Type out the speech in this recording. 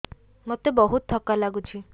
ମୋତେ ବହୁତ୍ ଥକା ଲାଗୁଛି